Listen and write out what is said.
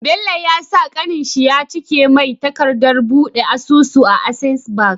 Bello ya sa kanin shi yacike mai takadat buɗe asusu a access bank